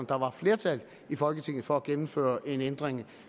der var flertal i folketinget for at gennemføre en ændring